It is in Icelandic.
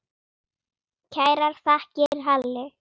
Kærar þakkir, Halli.